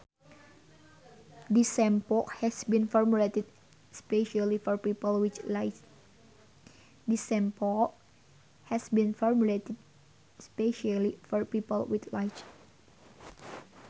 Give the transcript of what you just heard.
This shampoo has been formulated specially for people with lice